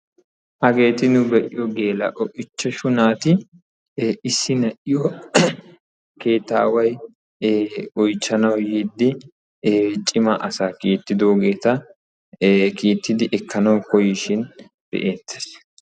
Hageetti nu be'iyo geela'o naati issi naati keettaway oychchannawu yiide cimaa asaa kiittin be'ettees.